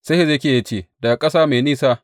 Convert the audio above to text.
Sai Hezekiya ya ce, Daga ƙasa mai nisa.